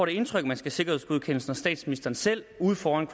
det indtryk at man skal sikkerhedsgodkendes når statsministeren selv ude foran